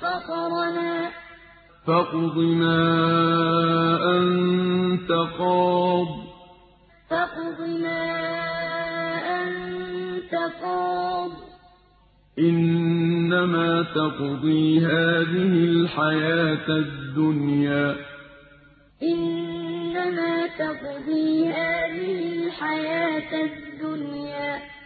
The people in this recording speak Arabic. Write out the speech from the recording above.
فَطَرَنَا ۖ فَاقْضِ مَا أَنتَ قَاضٍ ۖ إِنَّمَا تَقْضِي هَٰذِهِ الْحَيَاةَ الدُّنْيَا قَالُوا لَن نُّؤْثِرَكَ عَلَىٰ مَا جَاءَنَا مِنَ الْبَيِّنَاتِ وَالَّذِي فَطَرَنَا ۖ فَاقْضِ مَا أَنتَ قَاضٍ ۖ إِنَّمَا تَقْضِي هَٰذِهِ الْحَيَاةَ الدُّنْيَا